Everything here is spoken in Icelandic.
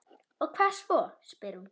Og hvað svo, spyr hún.